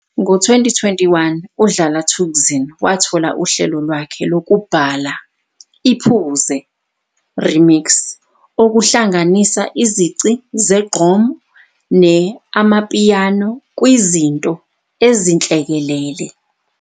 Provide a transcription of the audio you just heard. Ngo-2021, uDlala Thukzin wathola uhlelo lwakhe lwokubhala i-"Phuze", remix, okuhlanganisa izici zegqom ne-amapiano kwizinto ezinhlekelele.